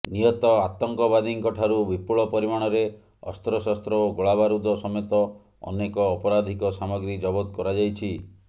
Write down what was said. ନିହତ ଆତଙ୍କବାଦୀଙ୍କ ଠାରୁ ବିପୁଳ ପରିମାଣରେ ଅସ୍ତ୍ରଶସ୍ତ୍ର ଓ ଗୋଳାବାରୁଦ ସମେତ ଅନେକ ଅପରାଧିକ ସାମଗ୍ରୀ ଜବତ କରାଯାଇଛି